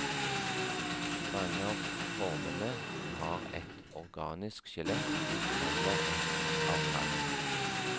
Mange av formene har et organisk skjelett eller et av kalk.